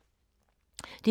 DR K